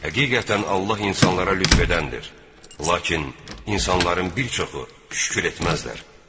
Həqiqətən, Allah insanlara lütf edəndir, lakin insanların bir çoxu şükür etməzlər.